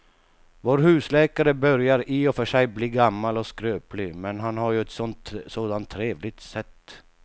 Vår husläkare börjar i och för sig bli gammal och skröplig, men han har ju ett sådant trevligt sätt!